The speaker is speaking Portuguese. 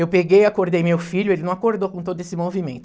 Eu peguei, acordei meu filho, ele não acordou com todo esse movimento.